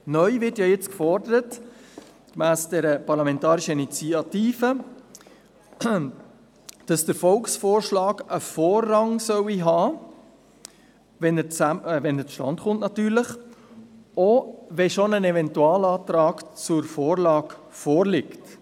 Neu wird jetzt gemäss dieser Parlamentarischen Initiative gefordert, dass der Volksvorschlag, natürlich dann, wenn er zustande kommt, Vorrang haben solle, wenn bereits ein Eventualantrag zur Vorlage vorliegt.